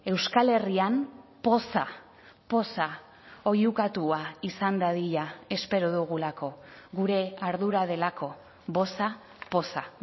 euskal herrian poza poza oihukatua izan dadila espero dugulako gure ardura delako boza poza